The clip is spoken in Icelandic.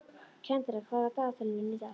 Kendra, hvað er á dagatalinu mínu í dag?